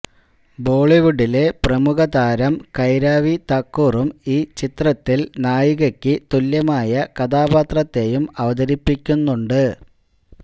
ബോളിവുഡിലെ പ്രമുഖതാരം കൈരാവി തക്കറും ഈ ചിത്രത്തില് നായികക്ക് തുല്യമായ കഥാപാത്രത്തെയും അവതരിപ്പിക്കുന്നുണ്ട്